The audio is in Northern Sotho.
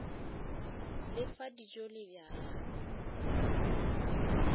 le fa dijo le bjala